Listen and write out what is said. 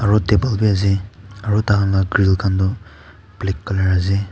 aru table bi ase aru tai khan la grill khan toh black colour ase.